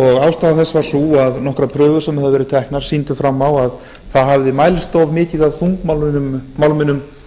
og ástæða þess var sú að nokkrar prufur sem höfðu verið teknar sýndu fram á að það hafði mælst of mikið af þungmálminum